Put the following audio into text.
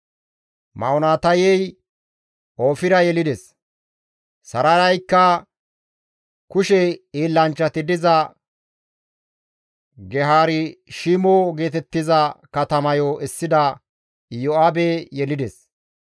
Ma7onotayey Oofira yelides. Sarayaykka kushe hiillanchchati diza Geharishimo geetettiza katamayo essida Iyo7aabe yelides.